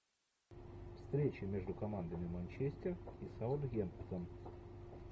встреча между командами манчестер и саутгемптон